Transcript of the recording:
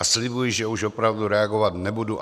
A slibuji, že už opravdu reagovat nebudu.